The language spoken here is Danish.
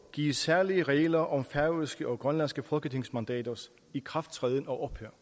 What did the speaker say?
gives særlige regler om færøske og grønlandske folketingsmandaters ikrafttræden og ophør